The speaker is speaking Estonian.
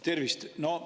Tervist!